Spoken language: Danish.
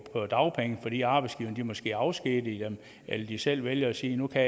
på dagpenge fordi arbejdsgiverne måske afskediger dem eller de selv vælger at sige at nu kan